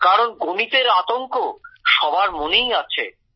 কারণ গণিতের আতঙ্ক সবার মনেই আছে